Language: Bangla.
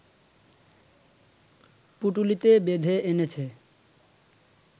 পুঁটুলিতে বেঁধে এনেছে